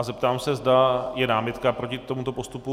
A zeptám se, zda je námitka proti tomuto postupu.